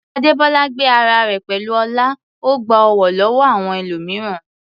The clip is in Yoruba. Adebola gbé ara rẹ̀ pẹ̀lú ọlá, ó gba ọ̀wọ̀ lọ́wọ́ àwọn ẹlòmíràn.